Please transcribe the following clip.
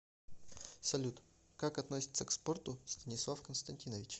салют как относится к спорту станислав константинович